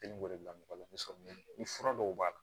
bila mɔgɔ la ni sɔmiya ni fura dɔw b'a la